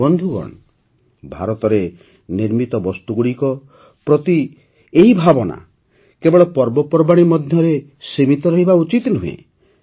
ବନ୍ଧୁଗଣ ଭାରତରେ ନିର୍ମିତ ବସ୍ତୁଗୁଡ଼ିକ ପ୍ରତି ଏହି ଭାବନା କେବଳ ପର୍ବପର୍ବାଣୀ ମଧ୍ୟରେ ସୀମିତ ରହିବା ଉଚିତ ନୁହେଁ